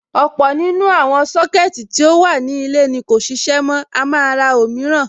Ọ̀pọ̀ nínú àwọn Sọ́kẹ̀tì tí ó wà ní ilé ni kò ṣiṣẹ́ mọ́, a máa ra òmíràn.